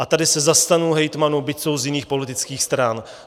A tady se zastanu hejtmanů, byť jsou z jiných politických stran.